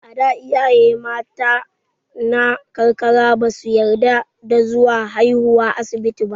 A da, iyaye mata na karkara ba su yarda da zuwa haiwa asibiti ba.